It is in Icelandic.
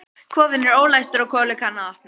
Kofinn er ólæstur og Kolur kann að opna.